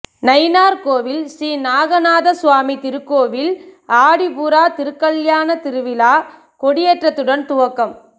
நயினார்கோவில் ஸ்ரீ நாகநாத சுவாமி திருக்கோவில் ஆடிப்பூர திருக்கல்யாண திருவிழா கொடியேற்றத்துடன் துவக்கம்